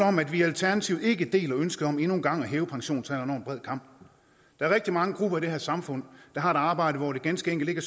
om at vi i alternativet ikke deler ønsket om endnu en gang at hæve pensionsalderen over en bred kam der er rigtig mange grupper i det her samfund der har et arbejde hvor det ganske enkelt ikke